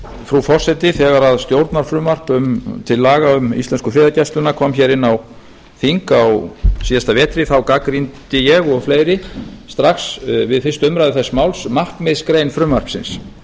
frú forseti þegar stjórnarfrumvarp til laga um íslensku friðargæsluna kom hér inn á þing á síðasta vetri gagnrýndi ég og fleiri strax við fyrstu umræðu þess máls markmiðsgrein frumvarpsins